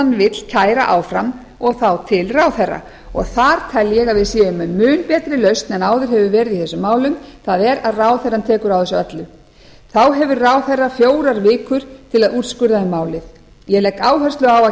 vill kæra áfram og þá til ráðherra og þar tel ég að við séum með mun betri lausn en áður hefur verið á þessum málum það er að ráðherrann tekur á þessu öllu þá hefur ráðherra fjórar vikur til að úrskurða um málið ég legg áherslu á